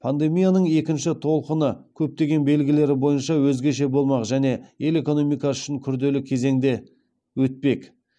пандемияның екінші толқыны көптеген белгілері бойынша өзгеше болмақ және ел экономикасы үшін күрделі кезеңде өтпек